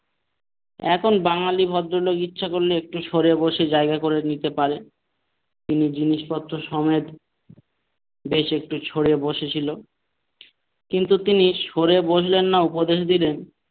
এখন বাঙালি ভদ্রলোক ইচ্ছা করলে একটু সরে বসে জায়গা করে দিতে পারে তিনি জিনিসপত্র সমেত বেশ একটু সরে বসে ছিল কিন্তু তিনি সরে বসলেন না উপদেশ দিলেন,